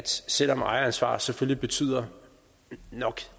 selv om ejeransvaret nok selvfølgelig betyder